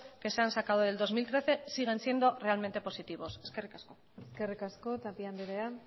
que se han sacado de dos mil trece siguen siendo realmente positivos eskerrik asko eskerrik asko tapia andrea